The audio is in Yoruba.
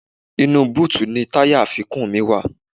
Inú búùtì ni àwọn táyà àfikún mi wà